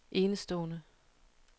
enestående